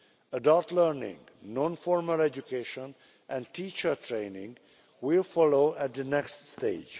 Adult learning, non formal education and teacher training will follow at the next stage.